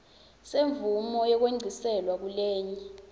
semvumo yekwengciselwa kulenye